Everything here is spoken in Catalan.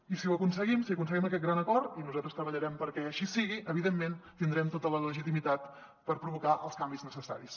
i si ho aconseguim si aconseguim aquest gran acord i nosaltres treballarem perquè així sigui evidentment tindrem tota la legitimitat per provocar els canvis necessaris